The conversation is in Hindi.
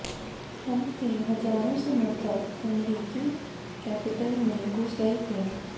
ट्रंप के हजारों समर्थक अमेरिकी कैपिटोल में घुस गए थे